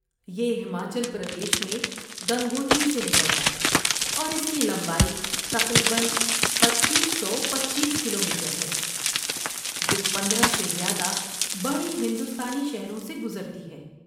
یہ ہماچل پردیش میں گنگوتری سے نکلتا ہے، اور اس کی لمبائی تقریباً پچیس سو پچیس کلومیٹر ہے، جو پندرہ سے زیادہ بڑے ہندوستانی شہروں سے گزرتی ہے